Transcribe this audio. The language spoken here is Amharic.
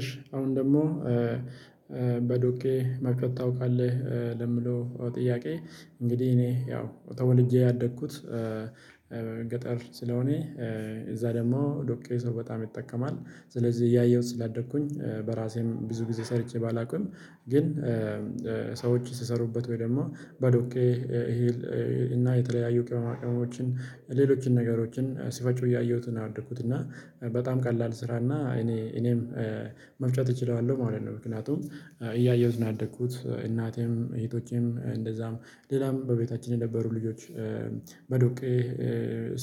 እሺ አሁን ደግሞ። በዶኬ መፈታው ካለህ ለምለው ጥያቄ? እንግዲህ እኔ ያው ተወልጄ ያደግኩት ገጠር ስለሆነ እዛ ደግሞ ዶቄ ሰው በጣም ይጠቀማል ስለዚህ እያየሁት ስላደግኩኝ በራሴም ብዙ ጊዜ ሰርቼ ባላውቅም። ግን ሰዎችን ስሰሩበት ወይ ደግሞ በዶኬ ይሄን እና የተለያዩ ቅመማቅመሞችን ሌሎችን ነገሮችን ሲፈጩ እያየሁት ነው ያደኩት እና በጣም ቀላል ስራና እኔ እኔም መፍጨት እችላለሁ። ማለት ነው ምክንያቱም እያየሁት ነው ያደግኩት እናቴም እህቶቼም እንደዛም ሌላም በቤታችን የነበሩ ልጆች በዶቄ